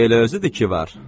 Elə özüdür ki var.